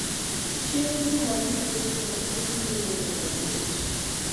chieng ' Jumapil gotieno piny biro bedo maliet